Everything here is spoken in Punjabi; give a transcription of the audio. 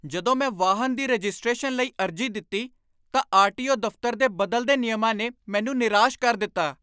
ਜਦੋਂ ਮੈਂ ਵਾਹਨ ਦੀ ਰਜਿਸਟ੍ਰੇਸ਼ਨ ਲਈ ਅਰਜ਼ੀ ਦਿੱਤੀ ਤਾਂ ਆਰ.ਟੀ.ਓ. ਦਫ਼ਤਰ ਦੇ ਬਦਲਦੇ ਨਿਯਮਾਂ ਨੇ ਮੈਨੂੰ ਨਿਰਾਸ਼ ਕਰ ਦਿੱਤਾ।